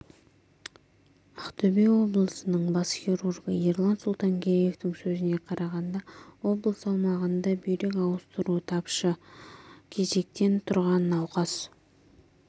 ақтөбе облысының бас хирургы ерлан сұлтангереевтің сөзіне қарағанда облыс аумағында бүйрек ауыстыру тапшы кезекте тұрған науқас